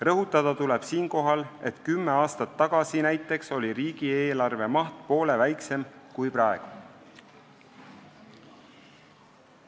Rõhutada tuleb siinkohal, et kümme aastat tagasi näiteks oli riigieelarve maht poole väiksem kui praegu.